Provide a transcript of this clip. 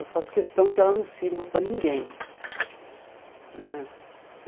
Eu faço questão que ela não sirva para ninguém né.